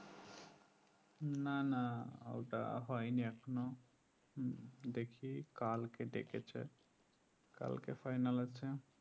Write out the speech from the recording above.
না না ওটা হয়নি এখনও হুম দেখি কালকে ডেকেছে কালকে final আছে